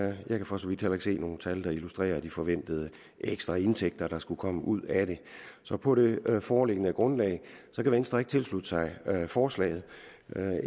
jeg kan for så vidt heller ikke se nogen tal der illustrerer de forventede ekstra indtægter der skulle komme ud af det så på det foreliggende grundlag kan venstre ikke tilslutte sig forslaget